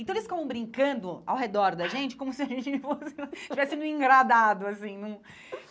Então, eles ficavam brincando ao redor da gente como se a gente fosse tivesse num engradado, assim num.